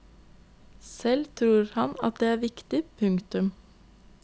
Selv tror han det er viktig. punktum